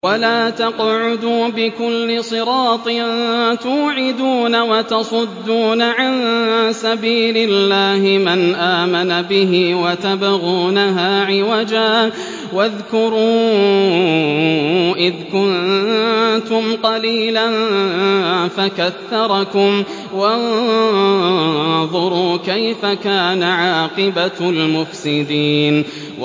وَلَا تَقْعُدُوا بِكُلِّ صِرَاطٍ تُوعِدُونَ وَتَصُدُّونَ عَن سَبِيلِ اللَّهِ مَنْ آمَنَ بِهِ وَتَبْغُونَهَا عِوَجًا ۚ وَاذْكُرُوا إِذْ كُنتُمْ قَلِيلًا فَكَثَّرَكُمْ ۖ وَانظُرُوا كَيْفَ كَانَ عَاقِبَةُ الْمُفْسِدِينَ